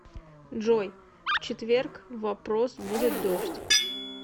джой в четверг в вопрос будет дождь